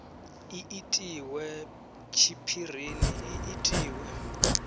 i itiwe tshiphirini i itiwe